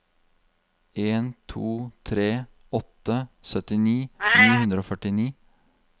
en to tre åtte syttini ni hundre og førtini